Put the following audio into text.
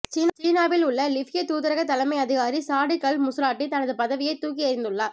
சீனாவில் உள்ள லிபிய தூதரக தலைமை அதிகாரி சாடிக் அல் முஸ்ராட்டி தனது பதவியைத் தூக்கி எறிந்துள்ளார்